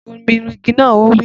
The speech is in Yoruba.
Bomi rin igi naa! Ó wí.